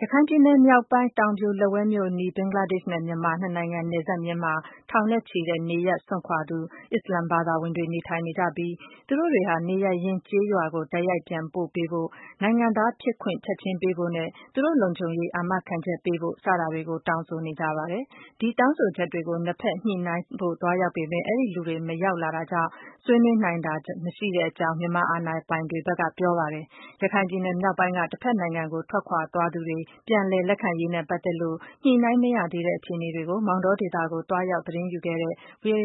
ရခိုင်ပြည်နယ်မြောက်ပိုင်း တောင်ပြိုလက်ဝဲမြို့အနီးက ဘင်္ဂလားဒေ့ရှ်နဲ့ မြန်မာနှစ်နိုင်ငံနယ်စပ်မျဉ်းမှာ ထောင်နဲ့ချီတဲ့ နေရပ်စွန့်ခွာသူ အစ္စလာမ်ဘာသာဝင်တွေ နေထိုင်နေကြပြီး သူတို့တွေဟာ နေရပ်ရင်းကျေးရွာကို တိုက်ရိုက်ပြန်ပို့ပေးဖို့၊ နိုင်ငံသားဖြစ်ခွင့်ချက်ချင်းပေးဖို့နဲ့ သူတို့ လုံခြုံရေးတွေကို အာမခံချက်ပေးဖို့ စတာတွေကို တောင်းဆိုနေကြပါတယ်။ မြန်မာအာဏာပိုင်တွေ ဖက်ကတော့ ဒီတောင်းဆိုချက်တွေ နဲ့ပတ်သက်လို့ ညှိနှိုင်းဖို့ သွားရောက်ပေမဲ့ မလာရောက်တာကြောင့် ဆွေးနွေးနိုင်တာမ ရှိကြောင်း ပြောဆိုပါတယ်။ ရခိုင်ပြည်နယ် မြောက်ပိုင်းက တဖက်နိုင်ငံကို ထွက်ခွာသွားသူတွေ ပြန်လည်လက်ခံရေးနဲ့ပတ်သက် ညှိနှိုင်းမရသေးတဲ့ အခြေအနေတွေကို ဗီွံအိုအေ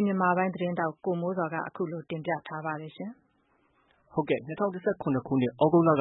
မြန်မာပိုင်းရဲ့သတင်းထောက် ကိုမိုးဇော်က မောင်တောဒေသကို သွားရောက်သတင်းရယူပြီး အခုလို တင်ပြထားပါတယ်။ ၂၀၁၇ခုနှစ် သြဂုတ်လ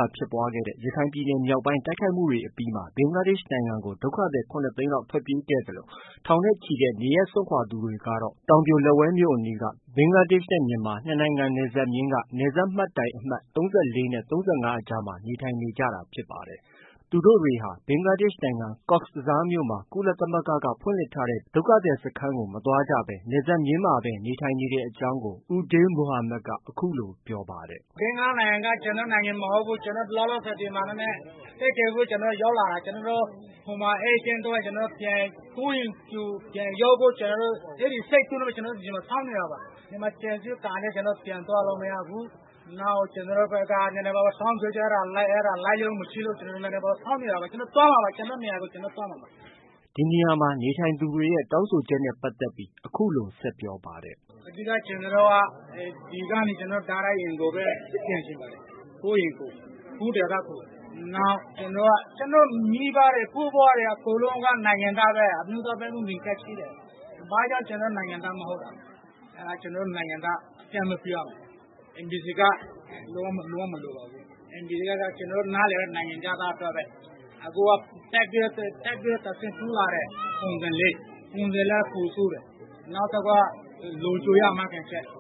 က ဖြစ်ပွားခဲ့တဲ့ ရခိုင်ပြည်မြောက်ပိုင်းတိုက်ခိုက်မှုတွေအပြီးမှာ ဘင်္ဂလားဒေ့ရှ်နိုင်ငံကို ဒုက္ခသည် ၇သိန်းလောက် ထွက်ပြေးသွားခဲ့သလို ထောင်နဲ့ချီတဲ့ နေရပ်စွန့်ခွာသူတွေဟာတောင်ပြိုလက်ဝဲမြို့အနီးက ဘင်္ဂလားဒေ့ရှ်နဲ့ မြန်မာနှစ်နိုင်ငံနယ်စပ်မျဉ်းက နယ်စပ်မှတ်တိုင်အမှတ် ၃၄နဲ့ ၃၅အကြားမှာ နေထိုင်နေကြတာ ဖြစ်ပါတယ်။ သူတို့တွေဟာ ဘင်္ဂလားဒေ့ရှ်နိုင်ငံ ကော့ဘဇားမြို့မှာ ကုလသမဂ္ဂက ဖွင့်လှစ်ထားတဲ့ ဒုက္ခသည်စခန်းကို မသွားကြဘဲ နယ်စပ်မျဉ်းမှာဘဲ နေထိုင်နေရတဲ့အကြောင်းကို ဦးဒေးလ်မိုဟာမက်က အခုလို ပြောပါတယ်။ “ ဘင်္ဂလားနိုင်ငံက ကျနော်တို့ နိုင်ငံမဟုတ်ဘူး။ ကျနော်တို့ လောလောဆည် ဒီမှာ အသက်ကယ်ဖို့ ရောက်လာတာ။ ကျနော်တို့ ဟိုမှာ အေးချမ်းသွားရင် ကျနော်တို့ ကိုယ့်အိမ်ကို ပြန်ရောက်ဖို့ အဲဒီစိတ်ကူးနဲ့ပဲ ကျနော်တို့ ဒီနေရာမှာစောင့်နေတာပါ။ ဒီမှာ ခြံစည်းရိုးကာထားလို့ ပြန်လို့ မရဘူး။ နောက်က ကျနော်တို့ဖက်က တောင်းဆိုချက်နည်းနည်းပါးပါး အဲဒါလိုက်လျောမှုမရှိလို့ စောင့်တောပါ။ ကျနော်တို့ သွားမှာပါ။ ကျနော်တို့ နေရာကို ကျနော်တို့ သွားမှာပါ။ ” ဒီနေရာမှာနေထိုင်နေသူတွေရဲ့ တောင်းဆိုချက်နဲ့ပတ်သက်ပြီး အခုလိုဆက်ပြောပါတယ်။ “ အဓိကကျနော်တို့က ဒီကနေ တိုက်ရိုက်အိမ်ကိုပဲပြန်ချင်ပါတယ်။ ကိုယ့်အိမ်ကို။ ကိုယ့်ဒေသကို။ နောက် ကျနော့်မိဘတွေ ဘိုးဘွားတွေက နိုင်ငံသားပဲ။ အမျိုးသားမှတ်ပုံတင်ကဒ်ရှိတယ်။ ဘာကြောင့် ကျနော်တို့က နိုင်ငံသား မဟုတ်တာလဲ။ ကျနော်တို့နိုင်ငံသားအသိအမှတ်ပြုရမယ်။ NVC ကဒ် လုံး၀ မလိုပါဘူး။ NVC ကဒ်က ကျနော်တို့နားလည်တာက နိုင်ငံခြားသားအတွက်ပဲ။ ခုက ထပ်ပြီးတော့ တဆင့်တိုးလာတယ် ပုံစံ ၄။ ပုံစံ၄က ပိုဆိုးတယ်။ နောက်တခုက လုံခြုံရေးအာမခံချက်။ ”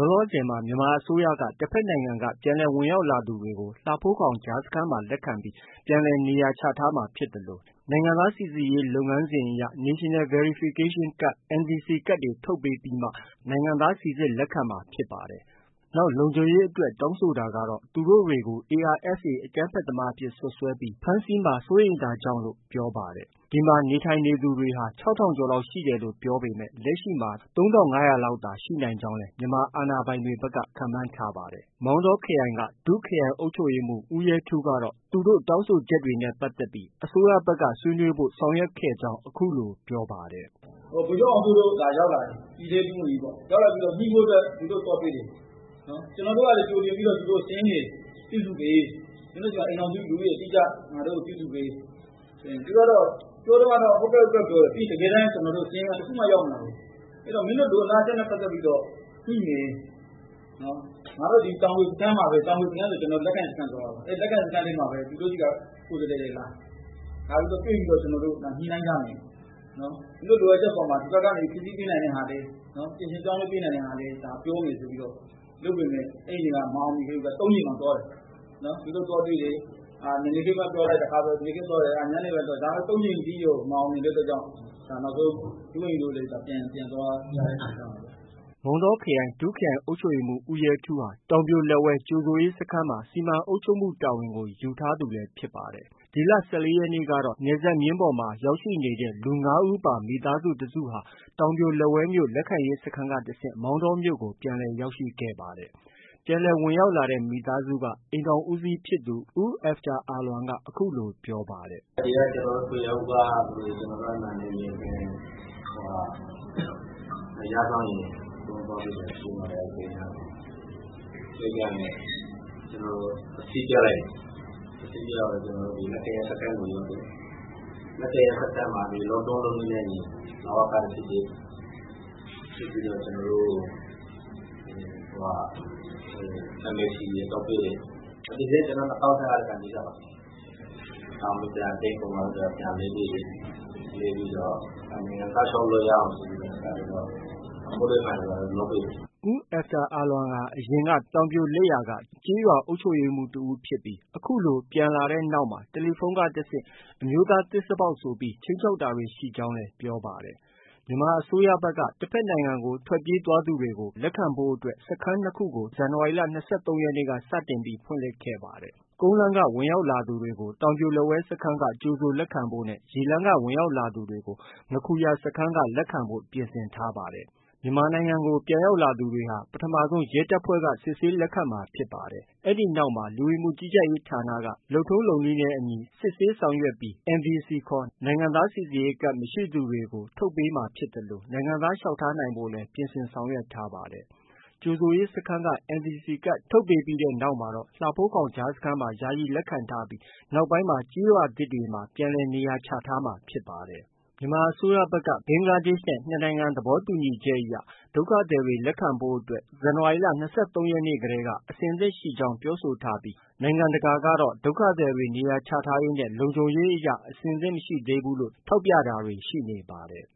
လောလောဆည်မှာ မြန်မာအစိုးရက တဖက်နိုင်ငံက ပြန်လည် ဝင်ရောက်လာသူတွေကို လှဖိုးခေါင် ကြားစခန်းမှာ လက်ခံပြီးမှ ပြန်လည်နေရာချထားမှာဖြစ်သလို နိုင်ငံသားစိစစ်ရေးလုပ်ငန်းစဉ်အရ National Verification Card (NVC )ကဒ်ထုတ်ပေးပြီးမှာ နိုင်ငံသားစိစစ်လက်ခံမှာဖြစ်ပါတယ်။ နောက်လုံခြုံရေးအတွက် တောင်းဆိုတာကတော့ သူတို့တွေကို ARSA အကြမ်းဖက်သမားအဖြစ် စွပ်စွဲပြီး ဖမ်းဆီးမှာ စိုးရိမ်တာကြောင့်လို့ ပြောပါတယ်။ ဒီမှာ နေထိုင်နေသူတွေဟာ ၆ထောင်ကျော်လောက်ရှိတယ်လို့ ပြောပေမဲ့ လက်ရှိမှာ ၃၅၀၀လောက်သာရှိနိုင် ကြောင်းလည်း မြန်မာအာဏာပိုင်တွေဖက်က ခန့်မှန်းထားတာပါ။ မောင်းတောခရိုင် ဒုခရိုင်အုပ်ချုပ်ရေးမှုးဦးရဲထူးကတော့ သူတို့ တောင်းဆိုချက်တွေ နဲ့ပတ်သက်ပြီး အစိုးရဖက်က ဆွေးနွေးဖို့ ဆောင်ရွက်ခဲ့ကြောင်း အခုလို ပြောပါတယ်။ “ဗိုလ်ချုပ်အောင်စိုးတို့ ရောက်လာတယ်။ ပြည်ထဲရေးဒုဝန်ကြီးပေါ့။ ညှိဖို့အတွက် သူတို့ သွားတွေ့တယ်။ ကျနော်တို့ကလည်း ကြိုတင်ပြီးတော့ စာရင်းတွေ ပြုစုပေး။ မင်းတို့ဆီမှာ အိမ်ထောင်စု၊ လူဦးရေစာရင်း အတိအကျ ငါတို့ကို ပြုစုပေးဆိုရင်။ ပြောတုံးကတော့ ဟုတ်ကဲ့။ ဟုတ်ကဲ့။ ပြောတယ်။ တကယ်တမ်းစာရင်းက တခုမှ ရောက်မလာဘူး။ မင်းတို့ လိုလားချက်နဲ့ပတ်သက်ပြီးတော့ ညှိမယ်။ ငါတို့ တောင်ပြိုစခန်းမှာပဲ တောင်ပြိုစခန်းဆိုတာ လက်ခံစခန်းပြောတာပါ။ အဲဒီလက်ခံစခန်းမှာပဲ သူတို့ ဆီက ကိုယ်စားလှယ်တွေ လာ လာပြီးတွေ့ပြီးတော့ ညှိနှိုင်းကြမယ်။ မင်းတို့ လိုအပ်ချက်အပေါ်မှာ ဒီဖက်က ဖြည့်ဆည်းပေးနိုင်တာလည်း ပြင်ဆင်ပြောင်းလဲပေးနိုင် တာလည်း ပြောမယ်ဆိုပြီး လုပ်ပေးမယ်။ အဲဒီနေ့က မအောင်မြင်ခဲ့ဘူးဗျ။ ၃ကြိမ်တောင် သွားတယ်။ သူတို့သွားတွေ့တယ်။ မနက်ခင်းပိုင်းသွားတယ်။ နေ့ခင်းပိုင်းပြောလိုက် ညနေဖက်သွားတယ်။ ဒါပေမဲ့ ၃ကြိမ်ထိတောင် မအောင်မြင်တဲ့ အတွက်ကြောင့် နောက်ဆုံး ဒုဝန်ကြီးတို့လည်း ပြန်သွားရတဲ့အနေအထားပါ။” မောင်းတောခရိုင် ဒုခရိုင်အုပ်ချုပ်ရေးမှုးဦးရဲထူးဟာ တောင်ပြိုလက်ဝဲ ကြိုဆိုရေးစခန်းမှာ စီမံအုပ်ချုပ်မှုတာဝန်ကို ယူထားသူလည်း ဖြစ်ပါတယ်။ ဒီလ ၁၄ရက်နေ့ကတော့ နယ်စပ်မျဉ်းပေါ်မှာ ရောက်ရှိနေတဲ့ လူ ၅ဦးပါ မိသားစုတစုဟာ တောင်ပြိုလက်ဝဲမြို့ လက်ခံရေးစခန်းကနေတဆင့် မောင်တောမြို့ကို ပြန်လည် ရောက်ရှိခဲ့ပါတယ်။ ပြန်လည်ဝင်ရောက်လာတဲ့ မိသားစုက အိမ်ထောင်ဦးစီးဖြစ်သူ ဦးအဲဖ်တာအာလွမ်က အခုလို ပြောပါတယ်။ “ ဒီက ကျနော်တို့ ထွေအုပ်ကလူတွေ၊ ကျနော်တို့ အဲဒီမှာ နယ်မြေခံ နယ်ခြားစောင့်ရဲ အကုန်လုံးပေါင်းပြီးတော့ ကြိုပါတယ်။ အဲဒီဂိတ်နားမှာ။ ဂိတ်ကနေ ကျနော်တို့ အစစ်ပြလိုက်တယ်။ အစစ်ပြပြီး ကျနော်တို့ လက်ခံရေးစခန်းကို ရောက်တယ်။ လက်ခံရေးစခန်းမှာ လုပ်ထုံးလုပ်နည်းနဲ့အညီ လဝက စစ်ပေးပါတယ်။ စစ်ပြီးတော့ ကျနော်တို့ NVC ထုတ်ပေးတယ်။ NVC က ကျနော်တို့ ၂၀၁၅တည်းက ကိုင်ပြီးသားပါ။ ဒါပေမဲ့ ဒါ date ကုန်သွားလို့ ပြန်လဲ ပေးတယ်။ လဲပြီးတော့ နိုင်ငံသားလျှောက်လို့ ရအောင်ဆိုပြီးတော့ file တွေ လုပ်ပေးတယ်။” ဦးအဲဖ်တာအာလွမ်ဟာ အရင်က တောင်ပြိုလက်ယာက ကျေးရွာအုပ်ချုပ်ရေးမှုး တဦးဖြစ်ပြီး အခုလို ပြန်လာတဲ့နောက်မှာ တယ်လီဖုန်းက တဆင့် အမျိုးသားသစ္စာဖောက်ဆိုပြီး ခြိမ်းခြောက်တာတွေ ရှိကြောင်း၊လည်း ပြောပါတယ်။ မြန်မာအစိုးရဖက်က တဖက်နိုင်ငံကို ထွက်ပြေးသွားသူတွေကို လက်ခံဖို့အတွက် စခန်း ၂ခုကို ဒီနှစ် ဇန်နဝါရီလ ၂၃ရက်နေ့က စတင်ပြီး ဖွင့်လှစ်ခဲ့ပါတယ်။ ကုန်းလမ်းက ဝင်ရောက်လာသူတွေကို တောင်ပြိုလက်ဝဲ စခန်းက ကြိုဆိုလက်ခံဖို့နဲ့ ရေလမ်းက ဝင်ရောက်လာသူတွေကို ငါးခူရစခန်းကနေ လက်ခံဖို့ ပြင်ဆင်ထားပါတယ်။ မြန်မာနိုင်ငံကို ပြန်လည်လာရောက်သူတွေကတော့ ပထမဆုံး ရဲတပ်ဖွဲ့က စစ်ဆေးလက်ခံမှာဖြစ်ပါတယ်။ လူဝင်မှုကြီးကြပ်ရေးဌာနက လုပ်ထုံးလုပ်နည်းနဲ့အညီ စစ်ဆေးဆောင်ရွက် နိုင်ငံသားစိစစ်ရေးကဒ် NVC ကဒ် မရှိသူတွေကို ထုတ်ပေးမှာဖြစ်သလို နိုင်ငံသားလျှောက်ထားနိုင်ဖို့လည်း ပြင်ဆင် ဆောင်ရွက်ပေးထားပါတယ်။ ကြိုဆိုရေးစခန်းက NVC ကဒ်ထုတ်ပေးပြီးတဲ့နောက် မှာတော့ လှဖိုးခေါင်ကြားစခန်းမှာ ယာယီလက်ခံထားပြီး နောက်ပိုင်းမှာ ကျေးရွာသစ်တွေတည်ဆောက်ပြီး ပြန်လည် နေရာချထားမှာဖြစ်ပါတယ်။ မြန်မာအစိုးရဖက်ကတော့ ဘင်္ဂလားဒေ့ရှ်နဲ့ နှစ်နိုင်ငံ သဘောတူညီချက်အရ ဒုက္ခသည်တွေ လက်ခံဖို့အတွက် ဇန်နဝါရီလ ၂၃ရက်နေ့တည်းက အဆင်သင့်ရှိကြောင်း ပြောဆိုထားပြီး နိုင်ငံတကာကတော့ ဒုက္ခသည်တွေ နေရာချထားရေးနဲ့ လုံခြုံရေးအရ အသင့်မရှိသေးဘူးလို့ ထောက်ပြတာတွေ ရှိနေပါတယ်